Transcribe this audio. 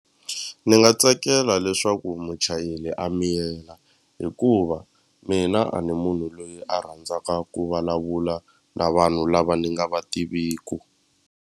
Ni nga tsakela leswaku muchayeli a miyela hikuva mina a ni munhu loyi a rhandzaka ku vulavula na vanhu lava ni nga va tiviku.